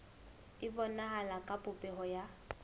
e bonahala ka popeho ya